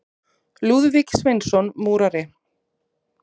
Lúðvík Sveinsson múrari.